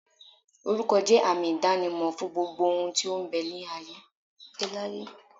Oruko je àmì idanimo fún gbogbo ohun tí ó ń bẹ láyé.